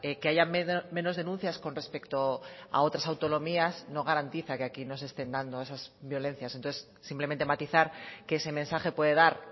que haya menos denuncias con respecto a otras autonomías no garantiza que aquí no se estén dando esas violencias entonces simplemente matizar que ese mensaje puede dar